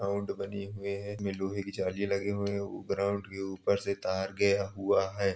Ground बनी हुए है। उनमें लोहे की जलियां लगी हुई हैं। ग्राउंड के ऊपर से तार गया हुआ है।